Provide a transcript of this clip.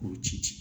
K'o ci ci